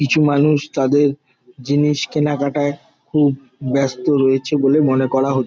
কিছু মানুষ তাদের জিনিস কেনাকাটায় খুব ব্যস্ত রয়েছে বলে মনে করা হ --